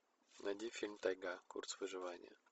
найди фильм тайга курс вживания